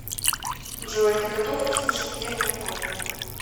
джой ты готов услышать нет натан